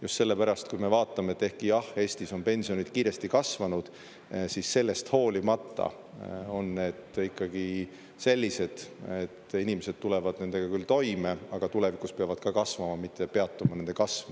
Just sellepärast, kui me vaatame, et ehkki jah, Eestis on pensionid kiiresti kasvanud, siis sellest hoolimata on need ikkagi sellised, et inimesed tulevad nendega küll toime, aga tulevikus peavad ka kasvama, mitte peatuma nende kasv.